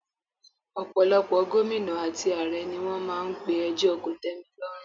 Ọ̀pọ̀lọpọ̀ Gómìnà àti ààrẹ ni wọ́n máa n pe ẹjọ́ kòtẹ́milọ́rùn